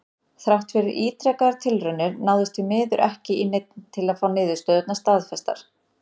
Þrátt fyrir ítrekaðar tilraunir náðist því miður ekki í neinn til að fá niðurstöðurnar staðfestar.